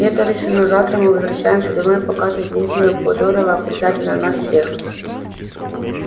это решено завтра мы возвращаемся домой пока ты здесь не опозорила окончательно нас всех